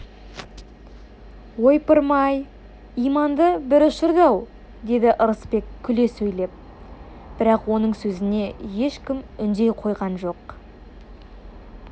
ойпырмай иманымды бір ұшырды-ау деді ырысбек күле сөйлеп бірақ оның сөзіне ешкім үндей қойған жоқ